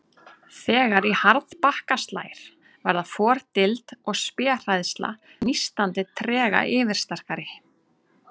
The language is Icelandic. Þegar í harðbakka slær verða fordild og spéhræðsla nístandi trega yfirsterkari.